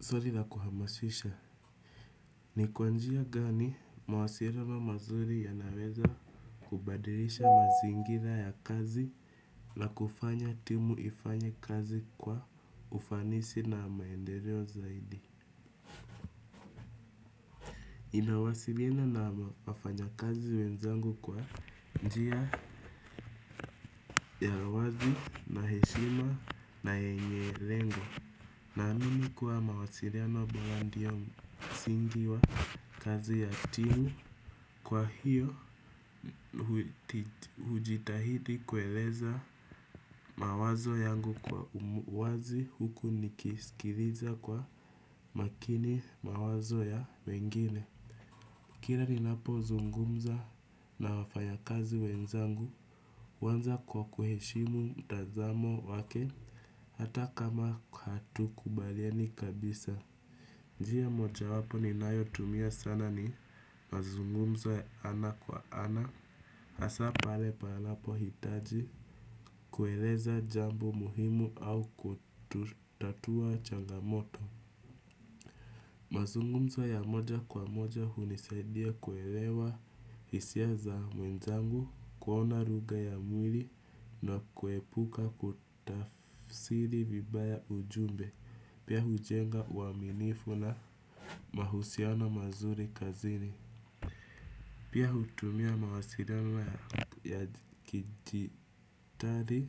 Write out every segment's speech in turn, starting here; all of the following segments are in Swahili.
Swali na kuhamasisha, ni kwa njia gani mawasiliano mazuri yanaweza kubadilisha mazingira ya kazi na kufanya timu ifanye kazi kwa ufanisi na maendeleo zaidi. Ninawasiliana na wafanyakazi wenzangu kwa njia ya uwazi na heshima na yenye lengo. Naamini kuwa mawasiliano bora ndio msingi wa kazi ya timu. Kwa hiyo hujitahidi kueleza mawazo yangu kwa uwazi huku nikiskiliza kwa makini mawazo ya wengine. Kila ninapozungumza na wafanyakazi wenzangu, huanza kwa kuheshimu mtazamo wake, hata kama hatukubaliani kabisa. Njia mojawapo ninayotumia sana ni mazungumzo ya ana kwa ana, hasa pale panapohitaji kueleza jambo muhimu au kutatua changamoto. Mazungumzo ya moja kwa moja hunisaidia kuelewa hisia za wenzangu kuona lugha ya mwili na kuepuka kutafsiri vibaya ujumbe pia hujenga uaminifu na mahusiano mazuri kazini. Pia hutumia mawasiliano ya kidigitali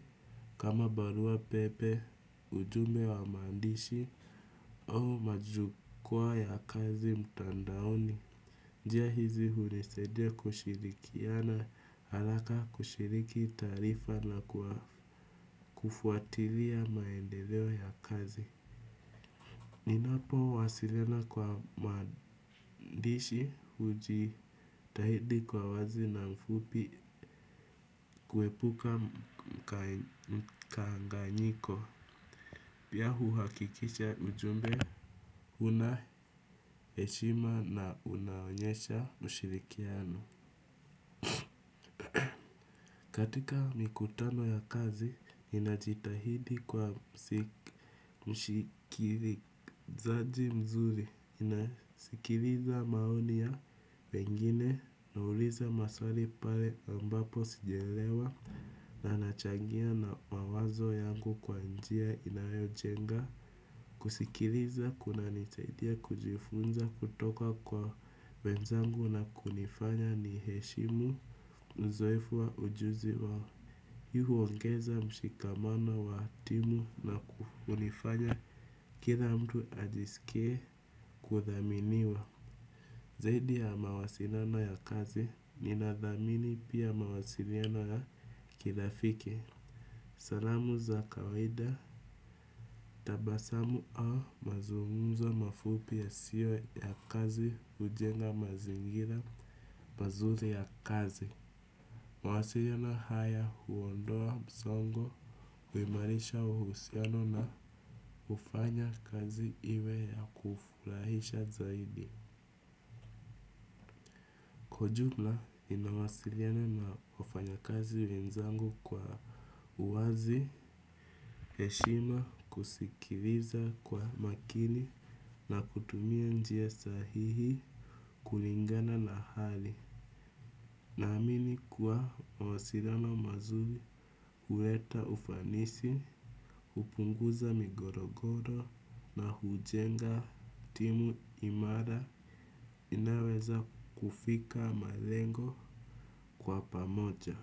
kama barua pepe, ujumbe wa maandishi au majukwa ya kazi mtandaoni. Njia hizi hunisaidia kushirikiana haraka kushiriki taarifa na kwa kufuatilia maendeleo ya kazi. Ninapowasiliana kwa maandishi hujitahidi kwa wazi na mfupi kuepuka mkanganyiko. Pia huhakikisha ujumbe, unaheshima na unaonyesha mshirikiano. Katika mikutano ya kazi, ninajitahidi kwa mshikiri. Zaji mzuri ninasikiliza maoni ya wengine nauliza maswali pale ambapo sijaelewa na nachangia na mawazo yangu kwa njia inayojenga. Kusikiliza kunanisaidia kujifunza kutoka kwa wenzangu na kunifanya niheshimu uzoefu wa ujuzi wao. Hii huongeza mshikamano wa timu na hunifanya kila mtu ajiskie kuthaminiwa. Zaidi ya mawasiliano ya kazi ninadhamini pia mawasiliano ya kirafiki. Salamu za kawida, tabasamu au mazungumzo mafupi yasiyo ya kazi hujenga mazingira mazuri ya kazi. Mawasiliano haya huondoa msongo, huimarisha uhusiano na hufanya kazi iwe ya kufurahisha zaidi. Kwa ujumla ninawasiliana na wafanyakazi wenzangu kwa uwazi, heshima kusikiliza kwa makini na kutumia njia sahihi kulingana na hali. Naamini kuwa mawasiliano mazuri huleta ufanisi, hupunguza migorogoro na hujenga timu imara inayoweza kufika malengo kwa pamoja.